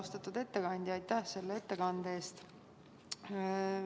Austatud ettekandja, aitäh selle ettekande eest!